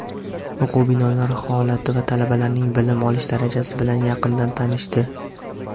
o‘quv binolar holati va talabalarning bilim olish darajasi bilan yaqindan tanishdi.